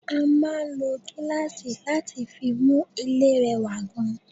A máa ń lò gíláàsì láti fi mú ilé rẹwà gan